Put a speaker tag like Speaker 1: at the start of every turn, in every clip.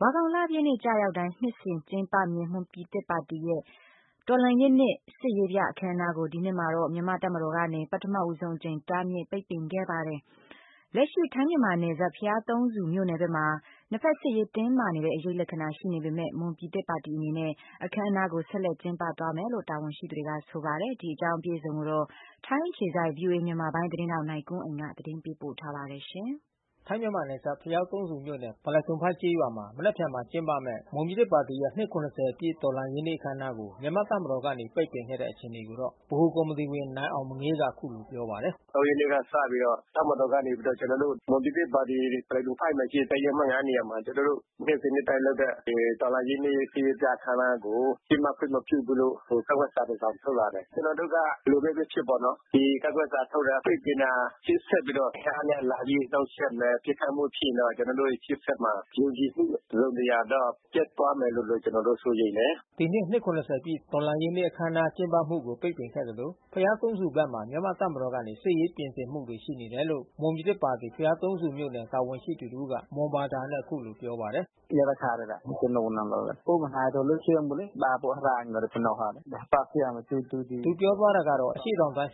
Speaker 1: ဝါခေါင်လပြည့်နေ့ကျရောက်တိုင်း နှစ်စဉ်ကျင်းပမြဲမွန်ပြည်သစ်ပါတီရဲ့တော်လှန်ရေးနေ့စစ်ရေးပြအခန်းအနားကို ဒီနှစ်မှာ မြန်မာ့တပ်မတော်ကနေ ပထမဆုံးအကြိမ်တားမြစ်ပိတ်ပင်ခဲ့တာပါ။ လက်ရှိထိုင်းမြန်မာနယ်စပ်ဘုရားသုံးဆူမြို့နယ်ဘက်မှာ နှစ်ဖက်စစ်ရေးတင်းမာနေတဲ့အရိပ်လက္ခဏာရှိနေပေမဲ့ မွန်ပြည်သစ်ပါတီအနေနဲ့ အခမ်းအနားကိုဆက်လက်ကျင်းပသွားမယ်လို့ တာဝန်ရှိသူတွေကဆိုပါတယ်။ ထိုင်းအခြေစိုက် ဗွီအိုအေ သတင်းထောက်နိုင်ကွန်းအိမ်ကနေ သတင်းပေးပို့ထား ပါတယ်။
Speaker 2: ထိုင်းမြန်မာနယ်စပ် ဘုရားသုံးဆူမြို့နယ်
Speaker 1: ဗလဲ့ဒွန်ဖိုက်ကျေးရွာမှာ မ
Speaker 2: နက်ဖြန်မှာကျင်းပမဲ့ မွန်ပြည်သစ်ပါတီရဲ့ အနှစ်(၇၀)ပြည့် တော်လှန်ရေးနေ့ အခမ်းအနားကို မြန်မာတပ်မတော်ကနေပိတ်ပင်ခဲ့တဲ့အခြေအနေကိုတော့ ဗဟိုကော်မီတီဝင်နိုင်အောင်မငေး က အခုလို ပြော ပါတယ်
Speaker 1: ။ "(၃)ရက်နေ့ကစပြီးတော့ တပ်မတော်က ကျွန်တော်တို့ မွန်ပြည်သစ်ပါတီဗလဲဒွန်ဖိုက်မှာရှိတဲ့တပ်ရင်းအမှတ်(၅)နေရာမှာ နှစ်စဉ်နှစ်တိုင်းလုပ်တဲ့ တော်လှန်ရေးနေ့စစ်ရေးပြအခမ်း အနားကို ကျင်းပခွင့်မပြုဘူးလို့ကန့်ကွက်စာ တစောင်ထုတ်လာတယ်။ ကျွန်တော်တို့က ဘယ်လိုဘဲဖြစ်ဖြစ်ပေါ့နော်။ ဒီကန့်ကွက်စာထုတ်တာ ပိတ်ပင်တာ အင်အားနဲ့လာပြီးနှောက်ယှက်မယ် ပစ်ခတ်မှုဖြစ်ရင်တော့ ကျွန်တော်တို့ရှေ့ဆက်မှာ ယုံကြည်မှုတစုံတရာတော့ပျက်သွားမယ်လို့ကျွန်တော်တို့စိုးရိမ်တယ်။
Speaker 2: " ဒီနှစ် အနှစ်(၇၀)ပြည့်တော်လှန်ရေးနေ့အခမ်းအနားကျင်းပမှုကို ပိတ်ပင်ခဲ့သလို ဘုရားသုံးဆူဘက်မှာ မြန်မာ့တပ်မတော် ကနေ စစ်ရေးပြင်ဆင်မှုတွေရှိနေတယ်လို့ မွန်ပြည်သစ်ပါတီဘုရားသုံးဆူမြို့နယ် တာဝန်ရှိသူတဦးကမွန်ဘာသာနဲ့ အခုလို ပြောပါတယ်။ "အရှေ့တောင်တိုင်းစစ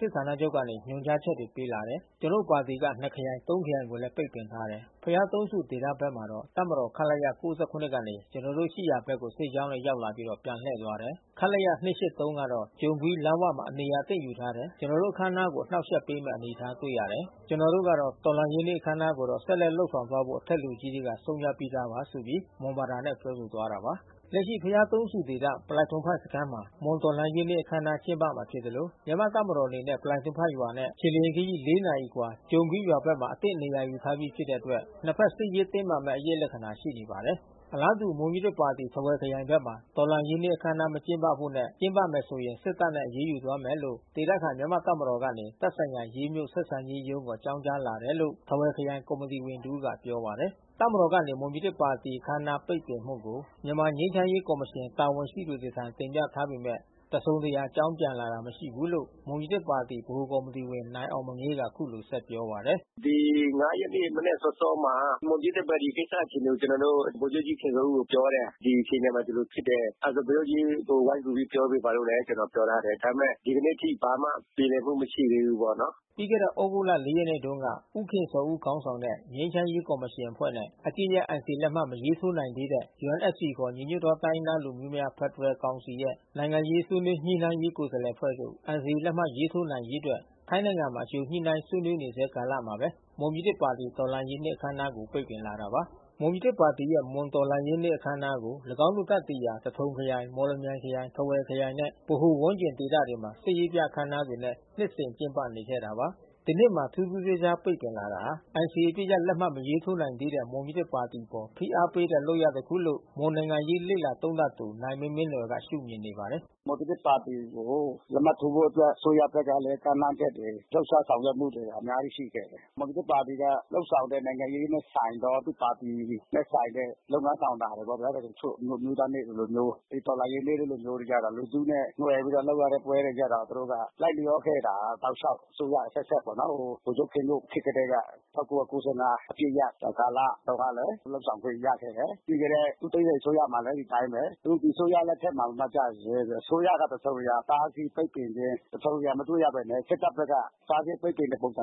Speaker 2: ်ဌာနချုပ်ကနေ ညွှန်ကြားချက်ပေးလာတယ်။ ကျွန်တော်ပါတီက နှစ်ခရိုင် သုံးခရိုင်ကိုလဲပိတ်ပင်ထားတယ်။ ဘုရားသုံးဆူဒေသဘက်မှာတော့ တပ်မတော်ခလရ(၉၇)ကနေ ကျွန်တော်တို့ရှိရာဘက်ကို စစ်ကြောင်းနဲ့ရောက်လာပြီးတော့ ပြန်လှည့်သွားတယ်။ ခလရ(၂၈၃)ကတော့ ကြုံကွီးလမ်းဝမှာနေရာအသင့်ယူထားတယ်။ ကျွန်တော်တို့အခန်းအနားကို အနှောက် ယှက်ပေးမဲ့အနေအထားတွေ့ရတယ်။ ကျွန်တော်တို့ကတော့တော်လှန်ရေးနေ့အခန်းအနားကိုတော့ ဆက်လက်လုပ်ဆောင် သွားဖို့ အထက်လူကြီးတွေကဆုံးဖြတ်ပြီးသားပါ။" လက်ရှိဘုရားသုံးဆူဒေသ ဗလဲ့ဒွန်ဖိုက်စခမ်းမှာ မွန်တော်လှန်ရေးအခန်းအနားကျင်းပမှာဖြစ်သလို မြန်မာ့တပ်မတော်အနေနဲ့ ဗလဲ့ဒွန်ဖိုက်ရွာနဲ့ခြေလျင်ခရီး(၄)နာရီအကွာ ကြုံကွီးရွာဘက်မှာအသင့်နေရာယူထားပြီးဖြစ်တဲ့အတွက် နှစ်ဖက်စစ်ရေးတင်းမာ မဲ့ အရိပ်လက္ခဏာရှိနေပါတယ်။ အလားတူမွန်ပြည်သစ်ပါတီ၊ ထားဝယ်ခရိုင်ဘက်မှာ တော်လှန်ရေးနေ့အခမ်းအနားမကျင်းပဖို့နဲ့ ကျင်းပမယ်ဆိုရင် စစ်တပ်နဲ့ အရေးယူသွားမယ်လို့ ဒေသခံ မြန်မာ့တပ်မတော်ကနေ သက်ဆိုင်ရာရေးမြို့ဆက်ဆံရေးရုံးကိုအကြောင်းကြားလာတယ်လို့ ထားဝယ်ခရိုင်ကော်မီတီဝင်တဦးကပြောပါတယ်။ တပ်မတော်ကနေ မွန်ပြည်သစ်ပါတီ အခမ်းအနားပိတ်ပင်မှုကို မြန်မာငြိမ်းချမ်းရေးကော်မရှင်တာဝန်ရှိသူတွေထံ တင်ပြထား ပေမဲ့တစုံတရာအကြောင်းပြန်လာတာမရှိဘူးလို့မွန်ပြည်သစ်ပါတီ ဗဟိုကော်မီတီဝင်နိုင်အောင်မငေးက အခုလို ဆက်ပြော ပါတ
Speaker 1: ယ်။ "ဒီ(၅)ရက်နေ့မနက်စောစောမှာ မွန်ပြည်သစ်ပါတီကိစ္စအခြေအနေကိုကျွန်တော်တို့ ဗိုလ်ချုပ်ကြီးခင်ဇော်ဦးကိုပြောတယ်။ ဒီအခြေ အနေမှာဒီလိုဖြစ်တယ်။ အဲတာဗိုလ်ချုပ်ကြီးဝိုင်းကူပြောပေးပါလို့ကျွန်တော်ပြောထားတယ်။ ဒါပေမဲ့ ဒီကနေ့အထိပြေလည်မှု မရှိသေးဘူးပေါ့နော်။
Speaker 2: " ပြီးခဲ့တဲ့သြဂုတ်(၄)ရက်နေ့မှာ ဦးခင်ဇော်ဦးခေါင်းဆောင်တဲ့ငြိမ်းချမ်းရေးကော်မရှင်အဖွဲ့နဲ့ အပစ်ရပ်NCAလက်မှတ်မရေးထိုး နိုင်သေးတဲ့ UNFCခေါ်ညီညွတ်သောတိုင်းရင်းသားလူမျိုးများ ဖက်ဒရယ်ကောင်စီရဲ့ နိုင်ငံရေးဆွေးနွေးညှိနှိုင်းရေး ကိုယ်စား လှယ်အဖွဲ့ တို့ NCAလက်မှတ်ရေးထိုးနိုင်ရေးအတွက် ထိုင်းနိုင်ငံမှာအကြိုညှိနှိုင်းဆွေးနွေးနေဆဲကာလမှာဘဲ မွန်ပြည်သစ်ပါတီ တော်လှန်ရေးနေ့အခန်းအနားကိုပိတ်ပင်လာတာပါ။ မွန်ပြည်သစ်ပါတီရဲ့ မွန်တော်လှန်ရေးအခန်းအနားကို ၎င်းတို့တပ်တည်ရာ သထုံခရိုင် မော်လမြိုင်ခရိုင် ထားဝယ်ခရိုင်နဲ့ ဗဟို ဝန်းကျင်ဒေသတွေမှာ စစ်ရေးပြအခန်းအနားတွေနဲ့နှစ်စဉ်ကျင်းပနေခဲ့တာပါ။ ဒီနှစ်မှာမှထူးထူးခြားခြားပိတ်ပင်လာတာဟာ NCAအပစ်ရပ်လက်မှတ်မရေးထိုးနိုင်သေးတဲ့မွန်ပြည်သစ်ပါတီအပေါ်ဖိအားပေးတဲ့ လုပ်ရပ်တခုလို့ မွန်နိုင်ငံရေးလေ့လာသုံးသပ်သူ နိုင်မင်းမင်းနွယ်ကရှုမြင်နေပါတယ်။
Speaker 1: "မွန်ပြည်သစ်ပါတီကိုလက်မှတ်ထိုးဖို့အတွက် အစိုးရဘက်ကလဲကမ်းလှမ်းချက်တွေ လှုပ်ရှားဆောင်ရွက်မှုတွေ အများကြီးရှိခဲ့ တယ်။ မွန်ပြည်သစ်ပါတီလုပ်ဆောင်တဲ့ နိုင်င့ရေးနဲ့ဆိုင်သော သူ့ပါတီနဲ့ဆိုင်တဲ့ လုပ်ငန်းဆောင်တာတွေပေါ့ဗျာ။ မွန်အမျိုးသား နေ့တို့လိုမျိုး မွန်တော်လှန်ရေးနေ့တို့လိုမျိုး လူထုနဲ့နွယ်ပြီးလုပ်ရတဲ့ပွဲတွေကျတော့ သူတို့ကလိုက်ချောခဲ့တာတောက်လျောက် အစိုးရအဆက်ဆက်ပေါ့နော်။ ဗိုလ်ချုပ်ခင်ညွန့်ခေတ်ကတည်းက ၁၉၉၅ အပစ်ရပ်ကာလတုန်းကလဲ လုပ်ဆောင်ခွင့်ရခဲ့တယ်။ ပြီးခဲ့တဲ့ ဦးသိန်းစိန်အစိုးရမှာလဲ ဒီအတိုင်းဘဲ။ အခုဒီအစိုးရလက်ထက်မှကျတယ်ဆိုရင် အစိုးရက တစုံတရာတားဆီးပိတ်ပင်ခြင်း တစုံတရာမတွေ့ရဘဲနဲ့စစ်တပ်ဘက်က တားဆီးပိတ်ပင်ခြင်းဖြစ်တဲ့အခါကျ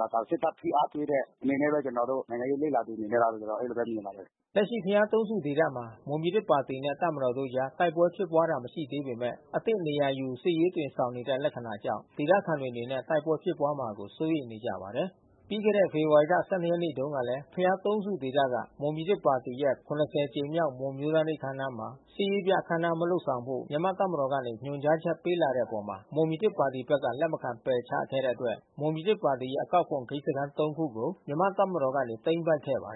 Speaker 1: တော့ စစ်တပ်ဖိအားပေးတဲ့အနေနဲ့ဘဲ ကျွန်တော်တို့ နိုင်ငံရေးးလေ့လာသူအနေနဲ့မြင်ပါတယ်။
Speaker 2: " လက်ရှိဘုရားသုံးဆူဒေသမှာ မွန်ပြည်သစ်ပါတီနဲ့တပ်မတော်တို့အကြားတိုက်ပွဲဖြစ်ပွါးတာမရှိသေးပေမဲ့ အသင့်နေရာယူ စစ်ရေးအသွင်ဆောင်နေတဲ့လက္ခဏာကြောင့် ဒေသခံတွေအနေနဲ့ တိုက်ပွဲဖြစ်ပွါးမှာကိုစိုးရိမ်နေကြပါတယ်။ ပြီးခဲ့တဲ့ ဖေဖေါ်ဝါရီ(၁၂)ရက်နေ့တုန်းကလဲ ဘုရားသုံးဆူဒေသက မွန်ပြည်သစ်ပါတီရဲ့ (၇၀)ကြိမ်မြောက်မွန်အမျိုးသားနေ့မှာ စစ်ရေးပြအခန်းအနားမလုပ်ဆောင်ဖို့ မြန်မာ့တပ်မတော်ကနေ ညွှန်ကြားချက်ပေးလာတဲ့အပေါ် မွန်ပြည်သစ်ဘက်က လက် မခံပယ်ချလိုက်တဲ့အတွက် မွန်ပြည်သစ်ပါတီရဲ့ အကောက်ခွန်ဂိတ်စခမ်း(၃)ခုကိုမြန်မာ့တပ်မတော်ကနေ သိမ်းပိုက်ခဲ့ပါတ